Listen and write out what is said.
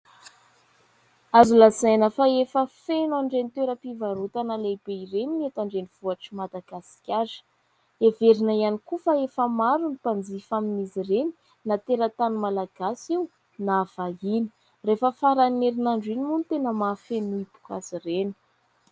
Azo lazaina fa efa feno an'ireny toeram-pivarotana lehibe ireny ny eto an-drenivohitr'i Madagasikara. Heverina ihany koa fa efa maro ny mpanjifa amin'izy ireny na teratany Malagasy io na vahiny. Rehefa faran'ny herinandro iny moa no tena mahafeno hipoka azy ireny.